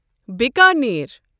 Bikaner